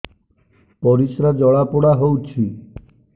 ପରିସ୍ରା ଜଳାପୋଡା ହଉଛି